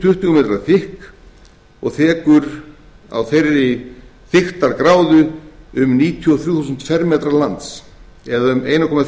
m þykk og þekur á þeirri þykktargráðu um níutíu og þrjú þúsund fermetra um einn komma